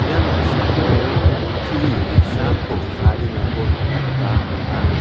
ia noksao kutturi ge·sako tariengako nikna gita man·a.